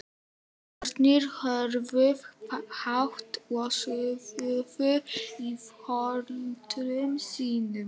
Börnin höfðu hátt og suðuðu í foreldrum sínum.